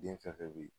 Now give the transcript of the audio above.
Den fɛn fɛn bɛ yen